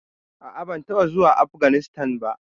A'a, ban taɓa zuwa Afganistan ba?